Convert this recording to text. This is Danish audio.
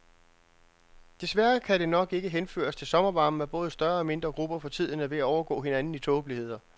Desværre kan det nok ikke henføres til sommervarmen, at både større og mindre grupper for tiden er ved at overgå hinanden i tåbeligheder.